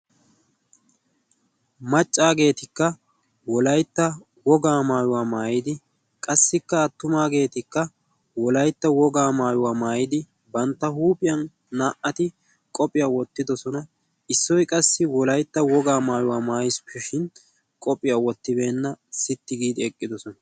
Maccageetikka wolaytta wogaa maayuwaa maayidi qassikka attumageetikka wolaytta wogaa maayuwaa maayidi bantta huuphiyaa qophiyaa wottidoosona. issoy qass wolayta wogaa maayuwa mayisippeshin qophiyaa wottibeena. sitti giidi eqqidoosona.